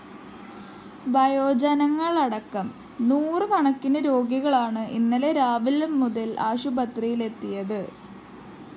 വയോജനങ്ങളടക്കം നൂറ് കണക്കിന് രോഗികളാണ് ഇന്നലെ രാവിലെ മുതല്‍ ആശുപത്രിയിലെത്തിയത്